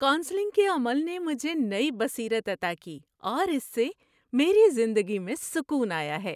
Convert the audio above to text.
Counselling کے عمل نے مجھے نئی بصیرت عطا کی اور اس سے میری زندگی میں سکون آیا ہے۔